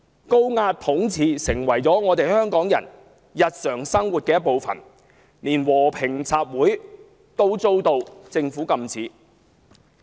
高壓統治成為香港人日常生活的一部分，連和平集會也被政府禁止。